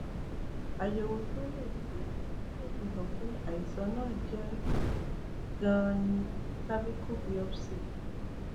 àyẹwò tó lè fi lè fi hàn pé àìsàn náà jẹ um ganan ni cervical biopsy